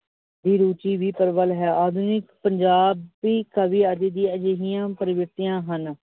ਦੀ ਰੂਚੀ ਹੀ ਪ੍ਰਭਲ ਹੈ। ਆਧੁਨਿਕ ਪੰਜਾਬ ਦੀ ਕਵੀ ਅੱਜ ਵੀ ਅਜਿਹੀਆਂ ਪ੍ਰਵਿਰਿਤੀਆ ਹਨ ।